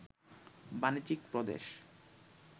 বাণিজ্যিক প্রদেশ